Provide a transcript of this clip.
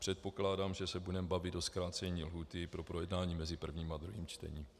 Předpokládám, že se budeme bavit o zkrácení lhůty pro projednání mezi prvním a druhým čtením.